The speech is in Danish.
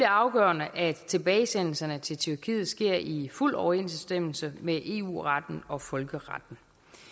afgørende at tilbagesendelserne til tyrkiet sker i fuld overensstemmelse med eu retten og folkeretten